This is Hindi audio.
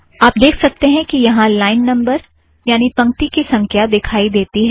आप देख सकतें हैं कि यहाँ लाइन नम्बर्ज़ यानि पंक्ति की संख्या दिखाई देती है